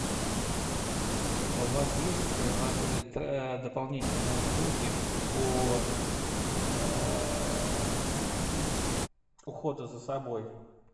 у вас есть в отеле дополнительные услуги по уходу за собой